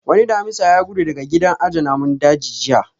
Wani Damisa ya gudu daga gidan aje namun daji jiya